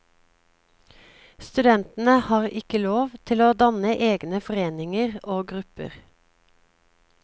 Studentene har ikke lov til å danne egne foreninger og grupper.